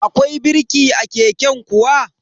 Akwai birki a keken kuwa?